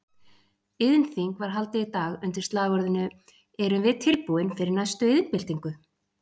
Iðnþing var haldið í dag undir slagorðinu Erum við tilbúin fyrir næstu iðnbyltingu?